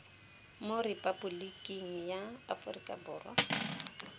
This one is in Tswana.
mo repaboliking ya aforika borwa